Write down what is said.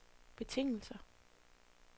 betingelser